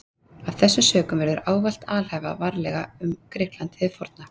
Af þessum sökum verður ávallt að alhæfa varlega um Grikkland hið forna.